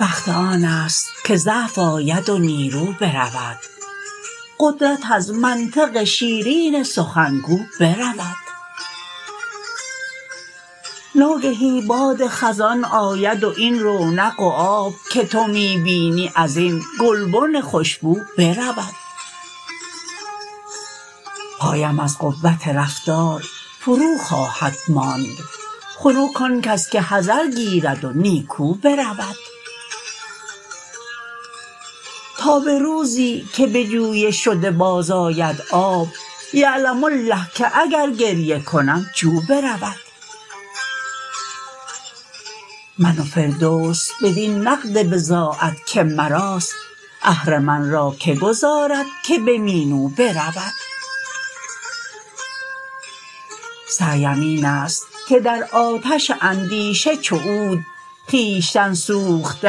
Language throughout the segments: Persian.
وقت آن است که ضعف آید و نیرو برود قدرت از منطق شیرین سخنگو برود ناگهی باد خزان آید و این رونق و آب که تو می بینی از این گلبن خوشبو برود پایم از قوت رفتار فرو خواهد ماند خنک آن کس که حذر گیرد و نیکو برود تا به روزی که به جوی شده باز آید آب یعلم الله که اگر گریه کنم جو برود من و فردوس بدین نقد بضاعت که مراست اهرمن را که گذارد که به مینو برود سعیم این است که در آتش اندیشه چو عود خویشتن سوخته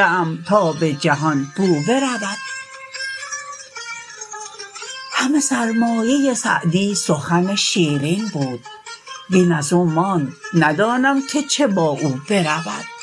ام تا به جهان بو برود همه سرمایه سعدی سخن شیرین بود وین از او ماند ندانم که چه با او برود